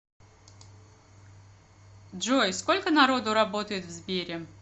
джой сколько народу работает в сбере